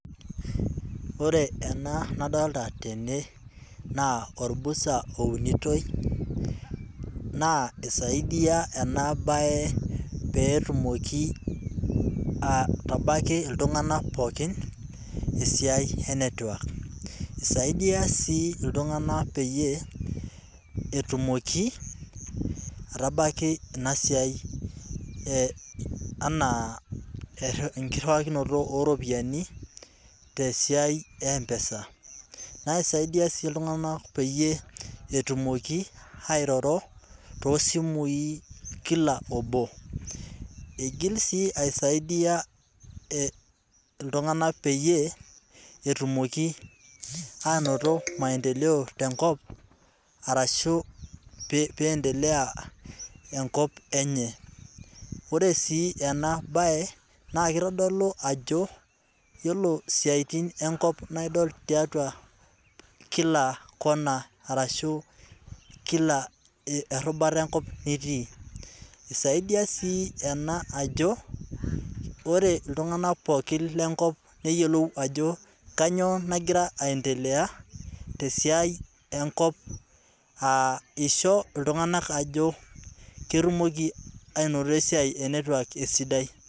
Ore ena nadoolta tene, naa olbusta ounitoi naa isaidia ena bae pee etumoki aitabaiki Iltunganak pookin esiai ene network. Esaidia sii iltunganak pee aitabaiki ina siai anaa engirriunakinoto oo ropiyiani tesiai ee mpesa. Naa isaidia sii iltunganak peyie etumoki airoro too simui kila obo, iigil Asaidia peyie pee etumoki aanoto maendeleo tenkop arashu pee endelea enkop enye. Ore sii ena bae naa kitodolu ajo ore siatin enkop naa idol tiatua kila Kona arashu tiatua kila erobuta enkop nitii. Esaisdia sii ena aji ore iltunganak pookin lenkop neyiolou ajo kanyio nagira aendelea tesiai enkop aa isho iltunganak ajo ketumoki aanoto esiai e network esidai.